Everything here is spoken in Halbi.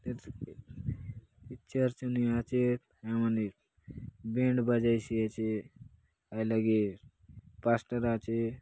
ये चर्च ने आचेत हाय लगे बैंड बजाइसी आचे हाय लगे पास्टर आचे।